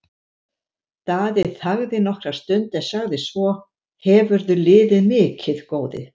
Daði þagði nokkra stund en sagði svo:-Hefurðu liðið mikið, góði?